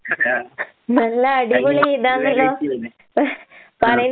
ആഹ് ആഹ്. ആഹ്.